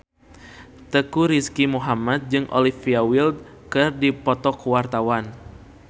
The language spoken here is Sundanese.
Teuku Rizky Muhammad jeung Olivia Wilde keur dipoto ku wartawan